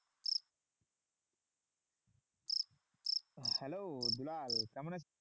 Hello Dulal কেমন আছিস?